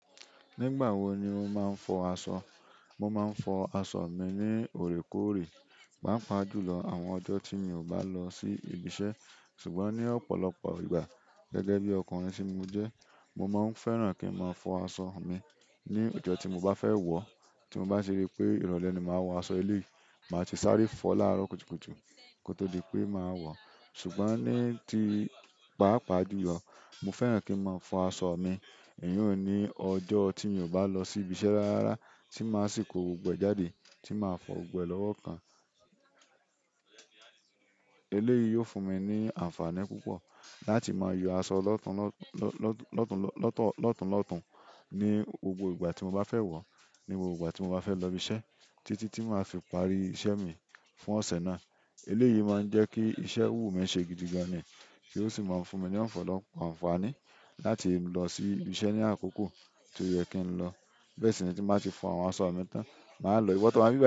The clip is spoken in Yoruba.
Nígbà wo ni o máa ń fọ aṣọ? Mo máa ń fọ aṣọ mi ní òrékóòrè, pàápàá jùlọ àwọn ọjọ́ tí mi ò bá lọ sí ibi iṣẹ́. Ṣùgbọ́n ní ọ̀pọ̀lọpọ̀ ìgbà, gẹ́gẹ́ bí ọkùnrin tí mo jẹ́, mo máa ń fẹ́ràn kí n máa fọ aṣọ mi ní ọjọ́ tí mo bá fẹ́ wọ̀ ọ́. Tí mo bá ṣe ri pé ìrọ̀lẹ́ ni màá wọ aṣọ eléyìí, màá ti sáré fọ̀ láàárọ̀ kùtùkùtù kó tó di pé màá wọ. Ṣùgbọ́n ní ti pàápàá jùlọ, mo fẹ́ràn kí n máa fọ aṣọ mi, èyí n ní ọjọ́ tí mi ò bá lọ sí ibi iṣẹ́ rárá, tí màá sì ko gbogbo ẹ jáde, tí màá fọ̀ gbẹ́ lọ́wọ́ kan. Eléyìí yóò fún mi ní àǹfààní púpọ̀ láti máa yọ aṣọ lọ́tùnlọ́tùn ní gbogbo ìgbà tí mo bá fẹ́ wọ̀, ní gbogbo ìgbà tí mo bá fẹ́ lọ ibi iṣẹ́ títí tí màá fi parí iṣẹ́ mi fún ọ̀sẹ̀ náà. Eléyìí máa ń jẹ́ kí iṣẹ́ wumi ṣe gidigan ni, ti ó sì máa ń fún mi ní ọ̀pọ̀lọpọ̀ àǹfààní láti lọ sí ibi iṣẹ́ ní àkókò tó yẹ kí n lọ. Bẹ́ẹ̀ sì ni tí màá ti fọ àwọn aṣọ mi tán, màá lọ. Iwọ tó waa nibi bai.